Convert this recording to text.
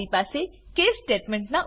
મારી પાસે case statement